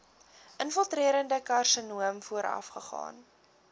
infiltrerende karsinoom voorafgaan